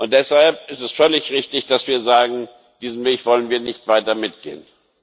Deshalb ist es völlig richtig, dass wir sagen Diesen Weg wollen wir nicht weiter mitgehen.